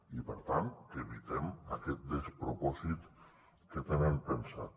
i per tant que evitem aquest despropòsit que tenen pensat